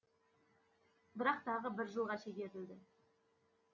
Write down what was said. бірақ тағы бір жылға шегерілді